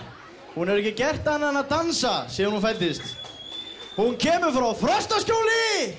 hún hefur ekki gert annað en að dansa síðan hún fæddist hún kemur frá Frostaskjóli